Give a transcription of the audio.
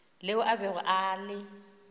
leo a bego a le